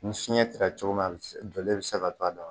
Ni fiɲɛ cira cogo min na a bi donlen bɛ se ka to a da la